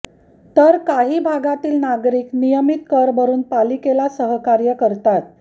तर काही भागातील नागरिक नियमीत कर भरुन पालिकेला सहकार्य करतात